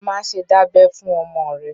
Má ṣe dábẹ fún ọmọ rẹ̀!